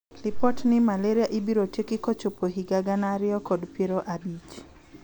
Lipot ni malaria ibiro tieki kochopo higa gana ariyo kod piero abich .